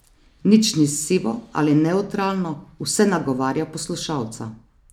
Nič ni sivo ali nevtralno, vse nagovarja poslušalca.